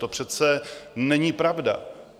To přece není pravda.